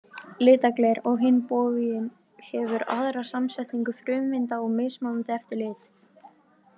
Litað gler, á hinn bóginn, hefur aðra samsetningu frumeinda og mismunandi eftir lit.